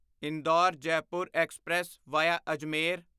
Indore Jaipur express via Ajmer